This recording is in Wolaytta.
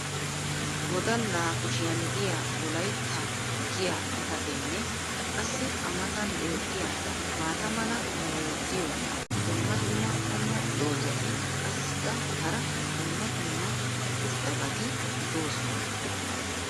wodalaa kushiyan diya wolaytta giya xifateenne qassi a matan beetiya maata mala meray diyo dumma dumma qommo dozzati qassikka hara dumma dumma irxxabati doosona.